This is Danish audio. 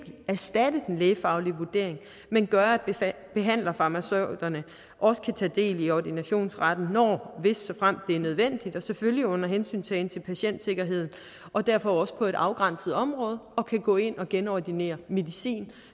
erstatte den lægefaglige vurdering men gøre at behandlerfarmaceuterne også kan tage del i ordinationsretten når hvis såfremt det er nødvendigt selvfølgelig under hensyntagen til patientsikkerheden og derfor også på et afgrænset område og kan gå ind og genordinere medicin